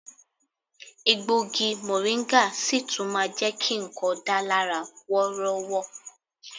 Egbògi mọ̀ríńgà sì tún máa jẹ ki nǹkan dà lára wọ́rọ́wọ́